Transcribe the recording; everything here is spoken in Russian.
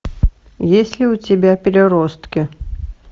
есть ли у тебя переростки